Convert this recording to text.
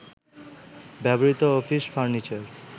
ব্যবহৃত office furniture